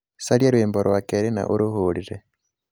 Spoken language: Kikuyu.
caria rwĩmbo rwa kerĩ na ũrũhũrĩre